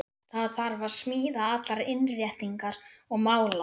Það þarf að smíða allar innréttingar og mála.